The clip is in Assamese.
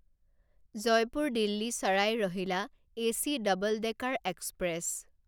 জয়পুৰ দিল্লী চাৰাই ৰহিলা এচি ডাবল ডেকাৰ এক্সপ্ৰেছ